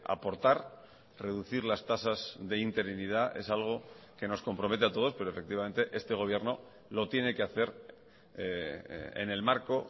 aportar reducir las tasas de interinidad es algo que nos compromete a todos pero efectivamente este gobierno lo tiene que hacer en el marco